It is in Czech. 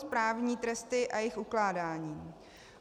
Správní tresty a jejich ukládání.